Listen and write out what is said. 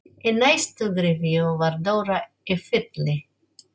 Í næstu gryfju var Dóra í Felli.